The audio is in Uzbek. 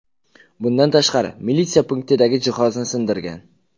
Bundan tashqari, militsiya punktidagi jihozni sindirgan.